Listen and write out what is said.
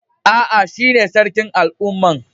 Aa, shine Sarkin al'umman.